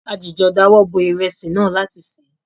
A jìjọ dáwọ bo ìrẹsì náà láti se.